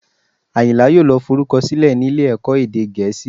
Àyìnlá yóò lọ forúkọ sílẹ̀ nílé ẹ̀kọ́ èdè Gẹ̀ẹ́sì